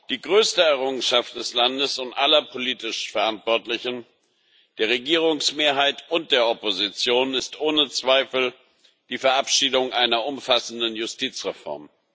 Die größte Errungenschaft des Landes und aller politisch Verantwortlichen, der Regierungsmehrheit und der Opposition, ist ohne Zweifel die Verabschiedung einer umfassenden Justizreform.